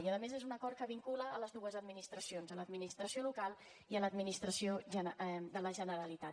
i a més és un acord que vincula les dues administracions l’administració local i l’administració de la generalitat